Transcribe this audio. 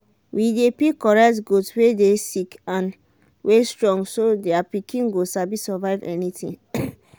we dey pick correct goat wey dey sick and wey strong so their pikin go sabi survive anything.